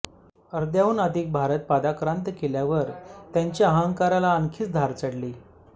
अर्ध्याहून अधिक भारत पादाक्रांत केल्यावर त्यांच्या अहंकाराला आणखीनच धार चढली